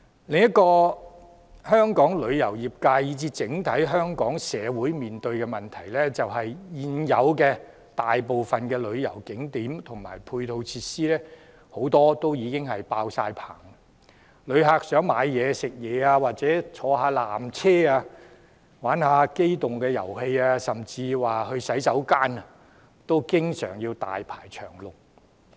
另一個香港旅遊業界，以至整體香港社會面對的問題，便是現有大部分旅遊景點和配套設施已經爆滿，旅客想購物、飲食或乘坐纜車、玩機動遊戲，甚至使用洗手間等，經常要大排長龍。